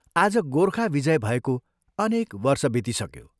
आज गोर्खा विजय भएको अनेक वर्ष बितिसक्यो।